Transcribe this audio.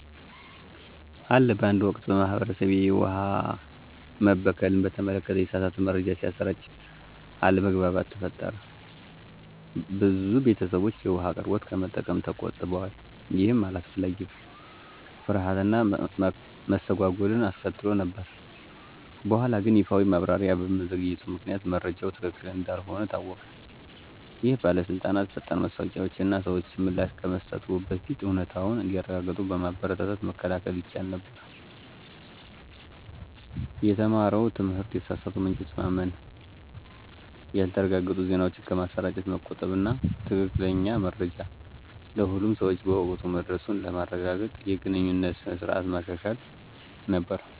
አለ በአንድ ወቅት፣ በማህበረሰቤ፣ የውሃ መበከልን በተመለከተ የተሳሳተ መረጃ ሲሰራጭ አለመግባባት ተፈጠረ። ብዙ ቤተሰቦች የውሃ አቅርቦቱን ከመጠቀም ተቆጥበዋል, ይህም አላስፈላጊ ፍርሃት እና መስተጓጎል አስከትሎ ነበር። በኋላግን ይፋዊ ማብራሪያ በመዘግየቱ ምክንያት መረጃው ትክክል እንዳልሆነ ታወቀ። ይህ በባለስልጣናት ፈጣን ማስታወቂያዎች እና ሰዎች ምላሽ ከመስጠትዎ በፊት እውነታውን እንዲያረጋግጡ በማበረታታት መከላከል ይቻል ነበር። የተማረው ትምህርት የተሳሳቱ ምንጮችን ማመን፣ ያልተረጋገጡ ዜናዎችን ከማሰራጨት መቆጠብ እና ትክክለኛ መረጃ ለሁሉም ሰው በወቅቱ መድረሱን ለማረጋገጥ የግንኙነት ስርዓቶችን ማሻሻል ነበር።